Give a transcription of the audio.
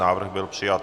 Návrh byl přijat.